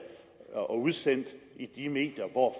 og udsendt i de medier hvor